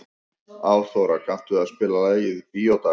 Árþóra, kanntu að spila lagið „Bíódagar“?